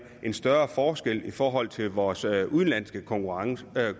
større forskel i forhold til vores udenlandske konkurrenter der